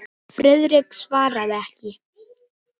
Friðrik svaraði ekki.